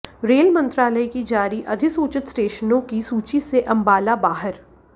rail मंत्रालय की जारी अधिसूचित स्टेशनों की सूची से अम्बाला बाहर